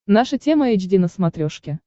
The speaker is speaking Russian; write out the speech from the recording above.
наша тема эйч ди на смотрешке